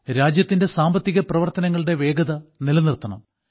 രാജ്യത്തിന്റെ സാമ്പത്തികപ്രവർത്തനങ്ങളുടെ വേഗത നിലനിർത്തണം